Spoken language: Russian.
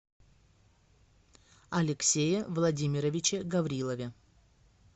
алексее владимировиче гаврилове